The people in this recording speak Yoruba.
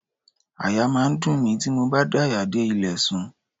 Àyà máa ń dùn mí tí mo bá daya dé ilẹ̀ sùn.